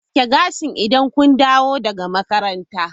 Aski gashi idan kun dawo daga makaranta!